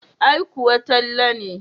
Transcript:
Ai kuwa Talle ne.